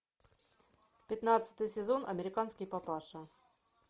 пятнадцатый сезон американский папаша